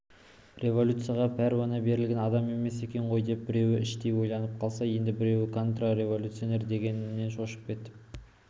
революцияға пәруана берілген адам емес екен ғой деп біреулер іштей ойланып қалса енді біреулер контрреволюционер дегеннен шошып кетіп